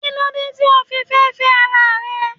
Kílódé tí o fi fẹ́ féẹ́ ara rẹ